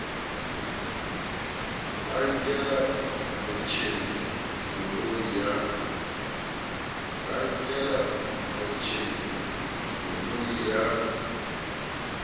ba nkela motjhesi koloi ya